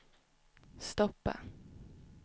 stoppa